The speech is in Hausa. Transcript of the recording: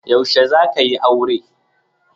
Yaushe zaka yi aure?